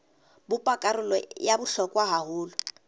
bopa karolo ya bohlokwa haholo